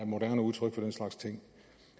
moderne udtryk for den slags ting